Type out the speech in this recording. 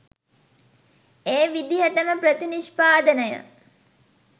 ඒ විදිහටම ප්‍රතිනිෂ්පාදනය